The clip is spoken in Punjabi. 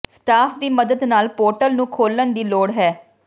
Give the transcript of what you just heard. ਸਟਾਫ ਦੀ ਮਦਦ ਨਾਲ ਪੋਰਟਲ ਨੂੰ ਖੋਲ੍ਹਣ ਦੀ ਲੋੜ ਹੈ